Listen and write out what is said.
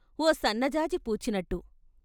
ఓ సన్నజాజి పూచినట్టు.